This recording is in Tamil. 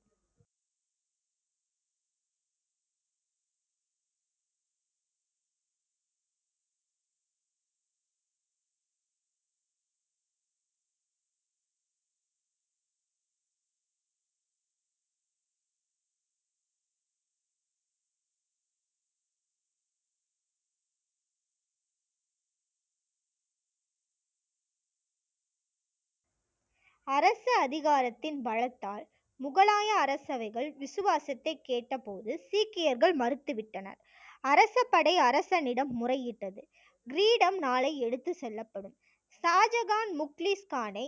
அரச அதிகாரத்தின் பலத்தால் முகலாய அரசவைகள் விசுவாசத்தை கேட்டபோது சீக்கியர்கள் மறுத்துவிட்டனர் அரசபடை அரசனிடம் முறையிட்டது. கிரீடம் நாளை எடுத்துச் செல்லப்படும் ஷாஜகான் முக்லீஸ் கானை